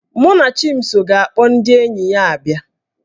Mụnachimso ga-akpọ ndị enyi ya abịa